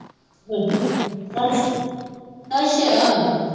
ਹੂੰ ਅੱਛ ਅੱਛਾ